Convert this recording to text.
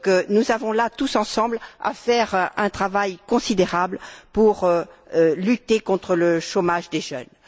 Nous avons là tous ensemble à faire un travail considérable pour lutter contre le chômage des jeunes.